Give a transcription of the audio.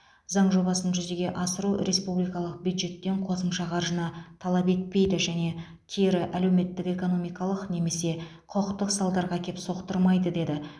заң жобасын жүзеге асыру республикалық бюджеттен қосымша қаржыны талап етпейді және кері әлеуметтік экономикалық немесе құқықтық салдарға әкеп соқтырмайды деді